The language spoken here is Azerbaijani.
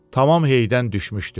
Tamam heydən düşmüşdü.